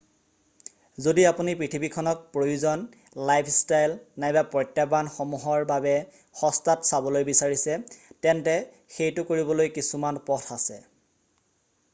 যদি আপুনি পৃথিৱীখনক প্ৰয়োজন লাইফষ্টাইল নাইবা প্ৰত্যাহ্বানসমূহৰ বাবে সস্তাত চাবলৈ বিচাৰিছে তেন্তে সেইটো কৰিবলৈ কিছুমান পথ আছে৷